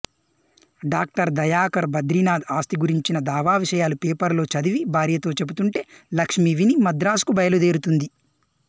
doctor Dayakar Badrinath ఆస్తి గురించిన దావావిషయాలు పేపర్లో చదివి భార్యతో చెప్తుంటే లక్ష్మి విని మద్రాసుకు బయలుదేరుతుంది